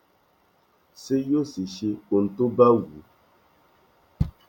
sì yóò sì ṣe ohun tó bá wù ú